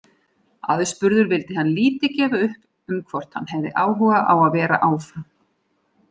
Aðspurður vildi hann lítið gefa upp um hvort hann hefði áhuga á að vera áfram.